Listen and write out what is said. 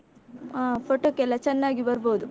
ಆ photo ಕ್ಕೆಲ್ಲ ಚೆನ್ನಾಗಿ ಬರ್ಬೋದು.